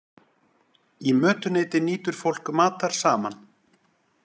Í mötuneyti nýtur fólk matar saman.